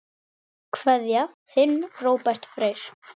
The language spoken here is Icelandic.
Kveðja, þinn Róbert Freyr.